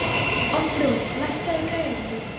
Oddrún, lækkaðu í græjunum.